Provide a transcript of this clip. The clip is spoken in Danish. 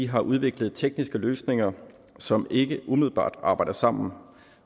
har udviklet tekniske løsninger som ikke umiddelbart arbejder sammen